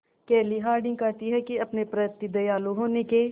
केली हॉर्डिंग कहती हैं कि अपने प्रति दयालु होने के